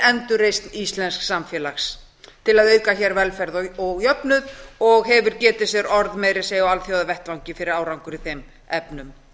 endurreisn íslensks samfélags til að auka hér velferð og jöfnuð og hefur getið sér orð meira að segja á alþjóðavettvangi fyrir árangur í þeim efnum